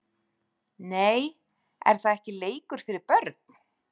Nei er það ekki leikur fyrir börn????????